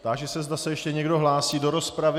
Táži se, zda se ještě někdo hlásí do rozpravy.